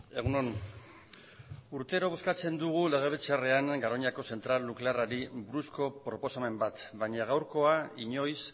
egun on urtero bozkatzen dugu legebiltzarrean garoñako zentral nuklearrari buruzko proposamen bat baina gaurkoa inoiz